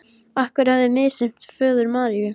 Að hann hefði misþyrmt föður Maríu.